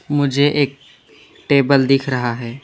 मुझे एक टेबल दिख रहा है।